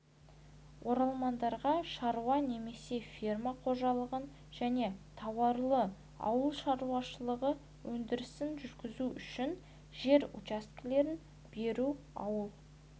оралмандарға шаруа немесе фермер қожалығын және тауарлы ауыл шаруашылығы өндірісін жүргізу үшін жер учаскелерін беру ауыл